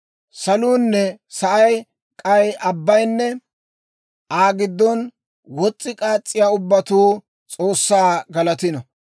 Saluunne sa'ay, k'ay abbayinne Aa giddon wos's'i k'aas's'iyaa ubbatuu S'oossaa galatino.